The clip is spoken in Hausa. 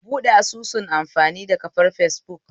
Ka buɓɗe asusun amfani da kafar fesbuk